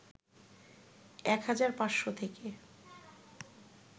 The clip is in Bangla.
১ হাজার ৫শ থেকে